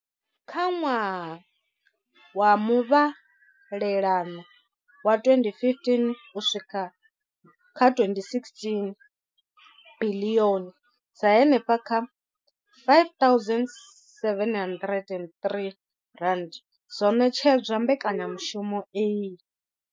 Kha ṅwaha wa muvhalelano wa 2015 uswika kha 2016, biḽioni dza henefha kha R5 703 dzo ṋetshedzwa mbekanyamushumo iyi.